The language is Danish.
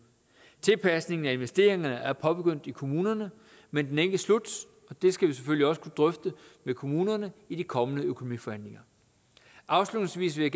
tilpasningen af investeringerne er påbegyndt i kommunerne men den er ikke slut og det skal vi selvfølgelig også kunne drøfte med kommunerne i de kommende økonomiforhandlinger afslutningsvis vil